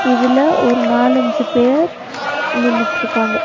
இதுல ஒரு நாலஞ்சு பேர் நின்னுட்டுருக்காங்க.